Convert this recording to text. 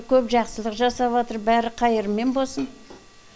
көп жақсылық жасаватыр бәрі қайырымен босын